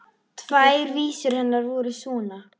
Tvær vísur hennar voru svona: